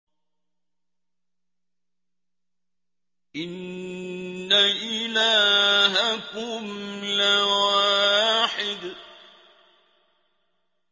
إِنَّ إِلَٰهَكُمْ لَوَاحِدٌ